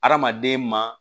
Hadamaden ma